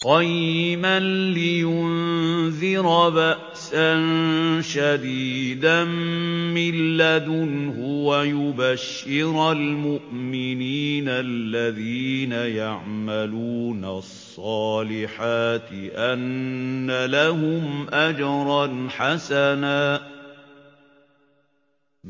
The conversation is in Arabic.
قَيِّمًا لِّيُنذِرَ بَأْسًا شَدِيدًا مِّن لَّدُنْهُ وَيُبَشِّرَ الْمُؤْمِنِينَ الَّذِينَ يَعْمَلُونَ الصَّالِحَاتِ أَنَّ لَهُمْ أَجْرًا حَسَنًا